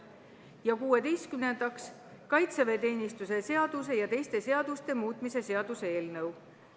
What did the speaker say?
Ja kuueteistkümnendaks, kaitseväeteenistuse seaduse ja teiste seaduste muutmise seaduse eelnõu.